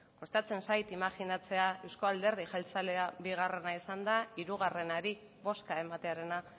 kostatzen zait imajinatzea euzko alderdi jeltzalea bigarrena izanda hirugarrenari bozka ematearena